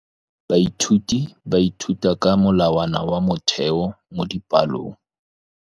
Baithuti ba ithuta ka molawana wa motheo mo dipalong.